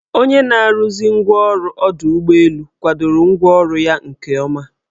Onye na-arụzi ngwaọrụ ọdọụgbọelu kwadoro ngwaọrụ ya nke ọma.